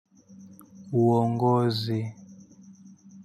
Uongozi.